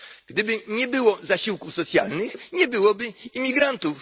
Gdyby nie było zasiłków socjalnych, nie byłoby imigrantów.